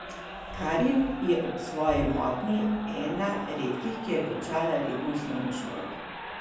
Karin je ob svoji motnji ena redkih, ki je končala redno osnovno šolo.